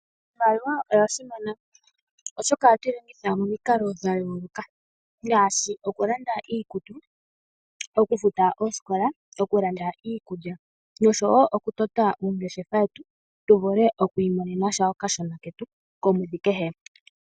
Iimaliwa oya simana oshoka oha twilongitha momiikalo dhayoloka ngashi okulanda iikutu, Oku futa oosikola, oku landa iikulya nosho wo oku tota uungeshefa wetu tu vule okwi monenasha oka shona ketu komwedhi kehe.